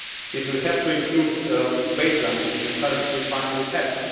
It will have to include a baseline, which we currently, finally, have.